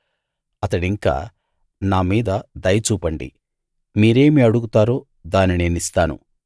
అతడింకా నామీద దయ చూపండి మీరేమి అడుగుతారో దాన్ని నేనిస్తాను